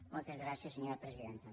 moltes gràcies senyora presidenta